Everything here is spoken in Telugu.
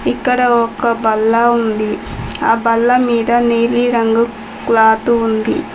ఇక్కడ ఒక బల్ల ఉంది ఆ బల్ల మీద నీలిరంగు క్లాత్ ఉంది.